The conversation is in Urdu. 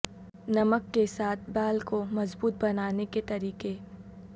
نمک کے ساتھ بال کو مضبوط بنانے کے طریقے